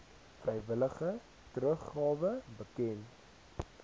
vrywillige teruggawe bekend